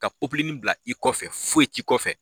Ka bila i kɔfɛ foyi t'i kɔfɛ